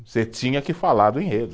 Você tinha que falar do enredo.